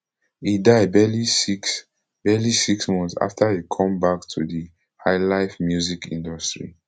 e die barely six barely six months afta e come back to di highlife music industry